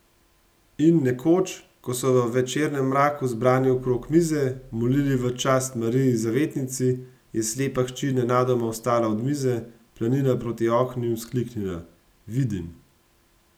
In nekoč, ko so v večernem mraku zbrani okrog mize molili v čast Mariji zavetnici, je slepa hči nenadoma vstala od mize, planila proti oknu in vzkliknila: 'Vidim!